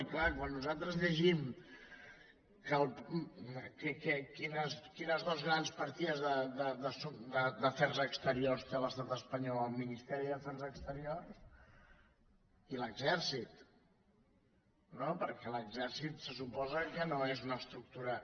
i clar quan nosaltres llegim quines dues grans partides d’afers exteriors té l’estat espanyol el ministeri d’afers exteriors i l’exèrcit no perquè l’exèrcit se suposa que no és una estructura